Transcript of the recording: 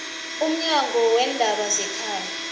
umnyango weendaba zekhaya